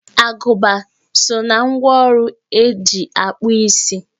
Agụba so na ngwá ọrụ e ji akpụ isi